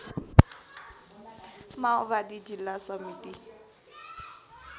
माओवादी जिल्ला समिति